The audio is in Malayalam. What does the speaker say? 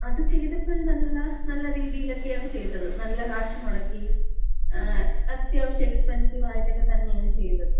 അത് ചെയ്തപ്പഴ് നല്ല രീതിയിലക്കെയാണ് ചെയ്തത്. നല്ല കാശ് മുടക്കി അത്യാവശ്യം എക്സ്പെൻസീവ് ആയിട്ടൊക്കെ തന്നെയാണ് ചെയ്തത്.